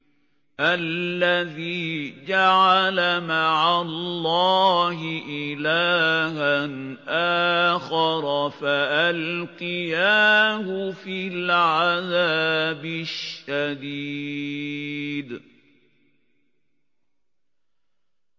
الَّذِي جَعَلَ مَعَ اللَّهِ إِلَٰهًا آخَرَ فَأَلْقِيَاهُ فِي الْعَذَابِ الشَّدِيدِ